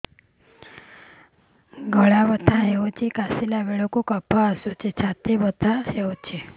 ଗଳା ବଥା ହେଊଛି କାଶିଲା ବେଳକୁ କଫ ଆସୁଛି ଛାତି ବଥା ହେଉଛି